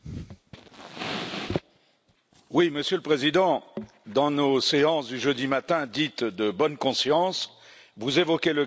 Monsieur le Président, dans nos séances du jeudi matin, dites de bonne conscience, vous évoquez le cas du journaliste Mehman Huseynov.